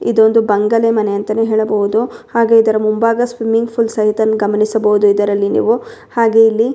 ಇದೊಂದು ಬಂಗಲೆ ಮನೆ ಅಂತನು ಹೇಳಬಹುದು ಹಾಗೆ ಇದರ ಮುಂಭಾಗ ಸ್ವಿಮ್ಮಿಂಗ್ ಫುಲ್ ಸಹಿತ ಗಮನಿಸಬಹುದು ಇದರಲ್ಲಿ ಹಾಗೆ ಇಲ್ಲಿ --